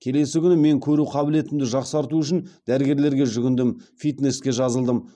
келесі күні мен көру қабілетімді жақсарту үшін дәрігерлерге жүгіндім фитнеске жазылдым